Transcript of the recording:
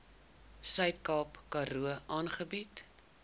suidkaap karoo aangebied